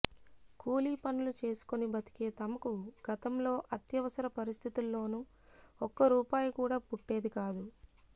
కూలీ పనులు చేసుకొని బతికే తమకు గతంలో అత్యవసర పరిస్థితుల్లోనూ ఒక్క రూపాయి కూడా పుట్టేది కాదు